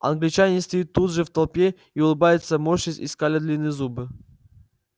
англичанин стоит тут же в толпе и улыбается морщась и скаля длинные зубы